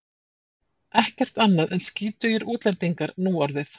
Ekkert annað en skítugir útlendingar núorðið.